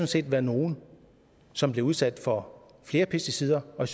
set være nogle som bliver udsat for flere pesticider og